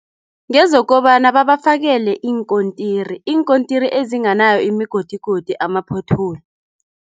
Ngezokobana babafakele iinkontirini. Iinkontiri ezinganayo imigodigodi ama-pothole.